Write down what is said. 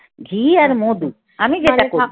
ঘি আর মধু আমি যেটা